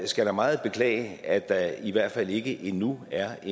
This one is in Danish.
skal da meget beklage at der i hvert fald ikke endnu er